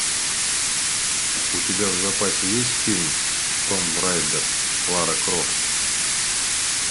у тебя в запасе есть фильм томб райдер лара крофт